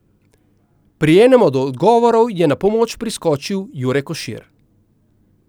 Pri enem od odgovorov je na pomoč priskočil Jure Košir.